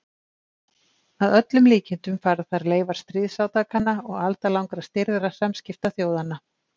Að öllum líkindum fara þar leifar stríðsátakanna og aldalangra stirðra samskipta þjóðanna.